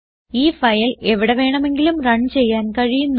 ഈ ഫയൽ എവിടെ വേണമെങ്കിലും റൺ ചെയ്യാൻ കഴിയുന്നു